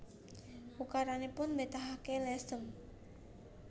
Ukaranipun mbetahaken lesan